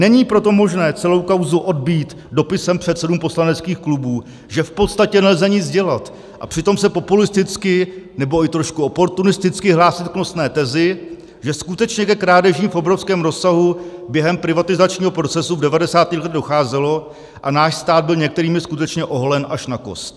Není proto možné celou kauzu odbýt dopisem předsedům poslaneckých klubů, že v podstatě nelze nic dělat, a přitom se populisticky nebo i trošku oportunisticky hlásit k nosné tezi, že skutečně ke krádežím v obrovském rozsahu během privatizačního procesu v 90. letech docházelo a náš stát byl některými skutečně oholen až na kost.